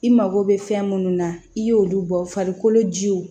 I mago bɛ fɛn munnu na i y'olu bɔ farikolo jiw